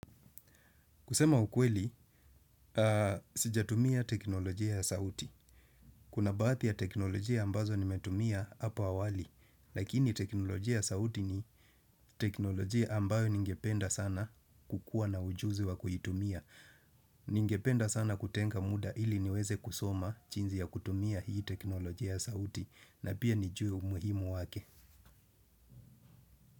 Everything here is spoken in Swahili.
Kusema ukweli, sijatumia teknolojia ya sauti. Kuna baadhi ya teknolojia ambazo nimetumia hapo awali. Lakini teknolojia ya sauti ni teknolojia ambayo ningependa sana kukua na ujuzi wa kuitumia. Ningependa sana kutenga muda ili niweze kusoma jinsi ya kutumia hii teknolojia ya sauti. Na pia nijue umuhimu wake.